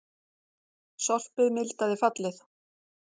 Sorpið mildaði fallið